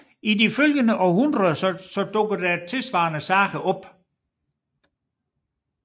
I de følgende århundreder dukkede tilsvarende sager op